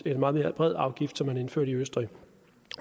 en meget mere bred afgift som man indførte i østrig